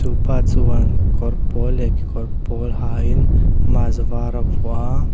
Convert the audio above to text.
pa chuan kawr pawl leh kekawr pawl ha in mask var a vuah a--